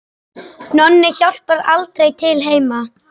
Nonni hjálpar aldrei til heima.